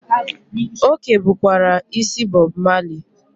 O kebukwara isi Bob Marley.